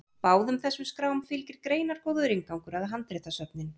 báðum þessum skrám fylgir greinargóður inngangur um handritasöfnin